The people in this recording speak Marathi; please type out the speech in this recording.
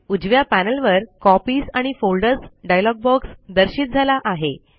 उजव्या पॅनल वर कॉपीज आणि फोल्डर्स डायलॉग बॉक्स दर्शित झाला आहे